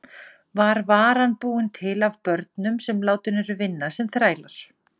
Stjarnan hefur tapað öllum þremur leikjum sínum á mótinu.